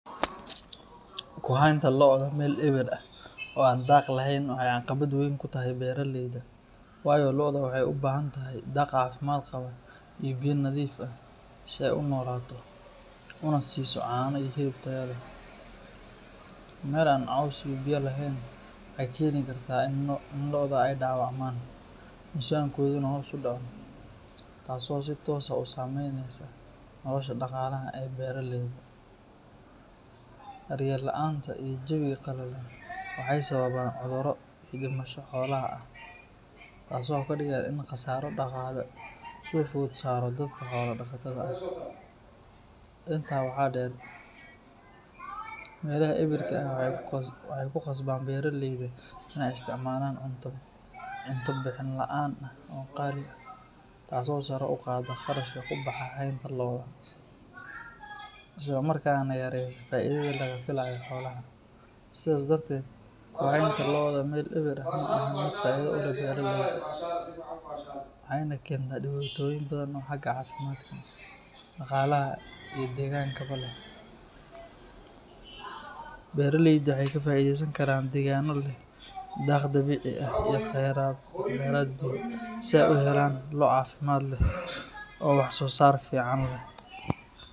Kuhaynta lo’da meel eber ah oo aan daaq lahayn waxa ay caqabad weyn ku tahay beraleyda, waayo lo’da waxay u baahan tahay daaq caafimaad qaba iyo biyo nadiif ah si ay u noolaato una siiso caano iyo hilib tayo leh. Meel aan caws iyo biyo lahayn waxay keeni kartaa in lo’da ay dhaawacmaan, miisaankooduna hoos u dhaco, taas oo si toos ah u saameyneysa nolosha dhaqaalaha ee beraleyda. Daryeel la’aanta iyo jawiga qalalan waxay sababaan cudurro iyo dhimasho xoolaha ah, taasoo ka dhigan in khasaaro dhaqaale soo food saaro dadka xoolo dhaqatada ah. Intaa waxaa dheer, meelaha eberka ah waxay ku khasbaan beraleyda inay isticmaalaan cunto bixin la’aan ah oo qaali ah, taas oo sare u qaadda kharashka ku baxa haynta lo’da, isla markaana yareysa faa'idada laga filayo xoolaha. Sidaas darteed, ku haynta lo’da meel eber ah ma ahan mid faa’iido u leh beraleyda, waxayna keentaa dhibaatooyin badan oo xagga caafimaadka, dhaqaalaha, iyo deegaankaba leh. Beraleyda waxay ka faa'iideysan karaan deegaanno leh daaq dabiici ah iyo kheyraad biyo, si ay u helaan lo’ caafimaad leh oo wax soo saar fiican leh.